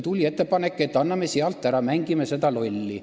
Tuli ettepanek, et anname sealt ära, mängime sellega lolli.